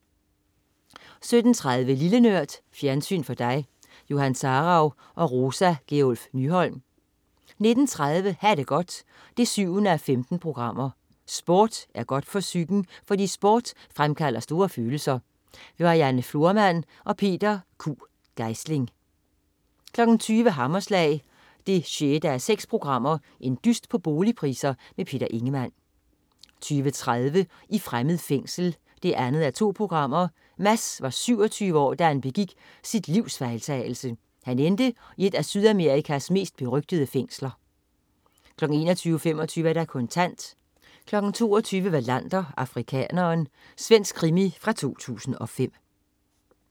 17.30 Lille Nørd. Fjernsyn for dig. Johan Sarauw og Rosa Gjerluff Nyholm 19.30 Ha' det godt 7:15. Sport er godt for psyken, fordi sport fremkalder store følelser. Marianne Florman og Peter Q. Geisling 20.00 Hammerslag 6:6. Dyst på boligpriser. Peter Ingemann 20.30 I fremmed fængsel 2:2. Mads var 27 år, da han begik sit livs fejltagelse. Han endte i et af Sydamerikas mest berygtede fængsler 21.25 Kontant 22.00 Wallander: Afrikaneren. Svensk krimi fra 2005